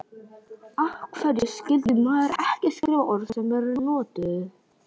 Af hverju skyldi maður ekki skrifa orð sem eru notuð?